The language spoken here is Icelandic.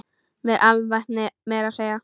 Með alvæpni meira að segja!